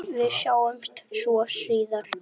Við sjáumst svo síðar.